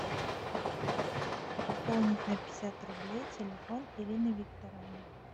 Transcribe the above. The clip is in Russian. пополнить на пятьдесят рублей телефон ирины викторовны